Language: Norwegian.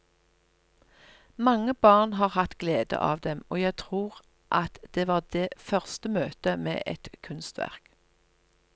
Mange barn har hatt glede av dem, og jeg tror at det var det første møte med et kunstverk.